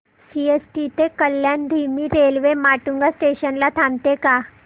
CST ते कल्याण धीमी railway Matunga station ला थांबते का